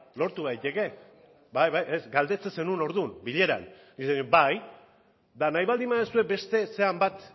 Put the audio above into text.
lortu daiteke bai bai galdetzen zenuen orduan bileran bai eta nahi baldin duzue beste zeren bat